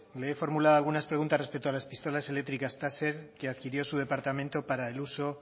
le he formulado algunas preguntas respecto a las pistolas eléctricas táser que adquirió su departamento para el uso